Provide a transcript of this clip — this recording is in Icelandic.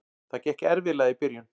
Það gekk erfiðlega í byrjun.